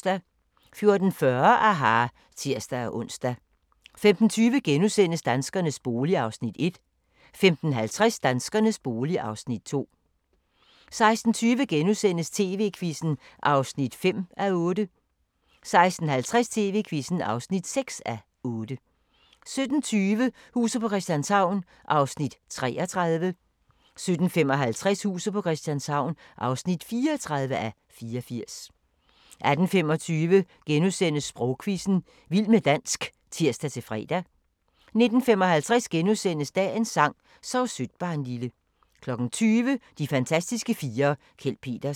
14:40: aHA! (tir-ons) 15:20: Danskernes bolig (Afs. 1)* 15:50: Danskernes bolig (Afs. 2) 16:20: TV-Quizzen (5:8)* 16:50: TV-Quizzen (6:8) 17:20: Huset på Christianshavn (33:84) 17:55: Huset på Christianshavn (34:84) 18:25: Sprogquizzen – Vild med dansk *(tir-fre) 19:55: Dagens sang: Sov sødt barnlille * 20:00: De fantastiske fire: Kjeld Petersen